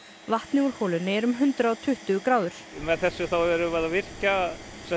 vatnið úr holunni er um hundrað og tuttugu gráður með þessu þá erum við að virkja